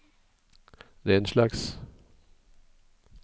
denslags